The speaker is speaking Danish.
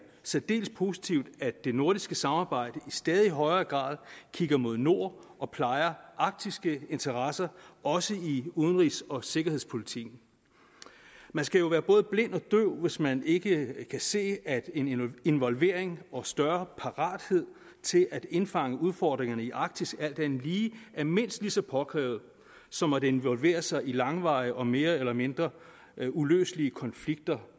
særdeles positivt at det nordiske samarbejde i stadig højere grad kigger mod nord og plejer arktiske interesser også i forbindelse udenrigs og sikkerhedspolitikken man skal være både blind og døv hvis man ikke kan se at en involvering og større parathed til at indfange udfordringerne i arktis alt andet lige er mindst lige så påkrævet som at involvere sig i langvarige og mere eller mindre uløselige konflikter